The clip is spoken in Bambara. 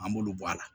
An b'olu bɔ a la